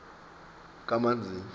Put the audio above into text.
kamanzini